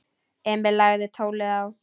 Emil lagði tólið á.